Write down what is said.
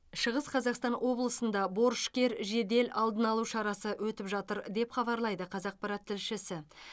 шығыс қазақстан облысында борышкер жедел алдын алу шарасы өтіп жатыр деп хабарлайды қазақпарат тілшісі